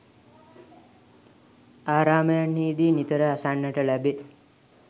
ආරාමයන්හිදී නිතර අසන්නට ලැබේ.